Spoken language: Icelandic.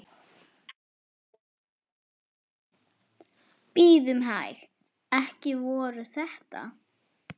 Bíðum hæg. ekki voru þetta?